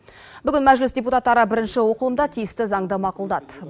бүгін мәжіліс депутаттары бірінші оқылымда тиісті заңды мақұлдады